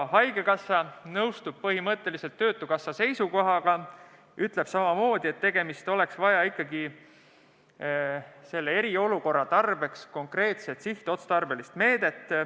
Haigekassa nõustub põhimõtteliselt töötukassa seisukohaga ja ütleb samamoodi, et oleks vaja ikkagi selle eriolukorra tarbeks konkreetset sihtotstarbelist meedet.